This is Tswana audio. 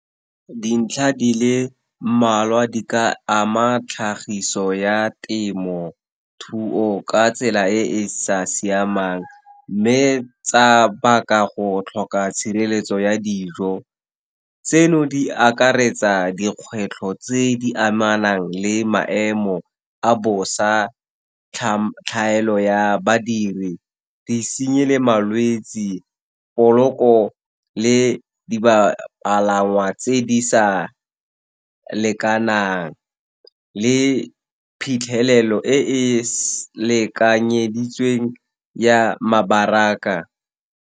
Dintlha di le mmalwa di ka ama tlhagiso ya temothuo ka tsela e e sa siamang, mme tsa baka go tlhoka tshireletso ya dijo. Tseno di akaretsa dikgwetlho tse di amanang le maemo a bosa, tlhaelo ya badiri, disenyi le malwetse, poloko le di bapalangwa tse di sa lekanang, le phitlhelelo e e lekanyeditsweng ya mabaraka.